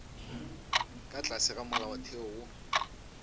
ka tlase ga molaotheo wo